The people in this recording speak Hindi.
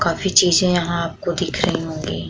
काफी चीजें आपको यहाँ दिख रही होगीं।